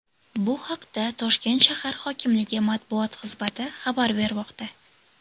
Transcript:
Bu haqda Toshkent shahar hokimligi Matbuot xizmati xabar bermoqda.